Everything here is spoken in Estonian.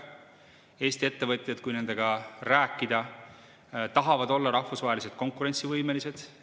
Kui Eesti ettevõtjatega rääkida, siis nad tahavad olla rahvusvaheliselt konkurentsivõimelised.